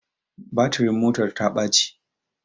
Batirin motar ta baci